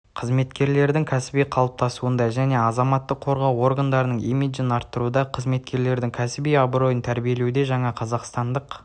қызметкерлердің кәсіби қалыптасуында және азаматтық қорғау органдарының имиджін арттыруда қызметкерлердің кәсіби абыройын тәрбиелеуде жаңа қазақстандық